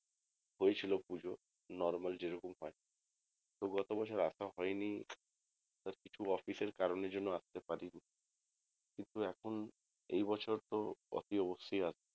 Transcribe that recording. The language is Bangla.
হয়েছিল পুজো normal যেরকম হয় তো গত বছর আশা হয়নি সব কিছু official কারণের জন্য আসতে পারিনি কিন্তু এখন এবছর তো অতি অবশ্যই আসবো